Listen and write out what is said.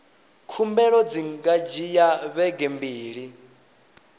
khumbelo dzi nga dzhia vhege mbili